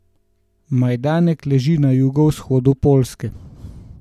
Majdanek leži na jugovzhodu Poljske.